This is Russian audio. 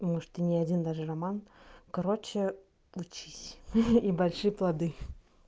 может и не один даже роман короче учись и большие плоды